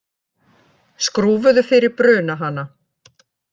Skrúfuðu fyrir brunahana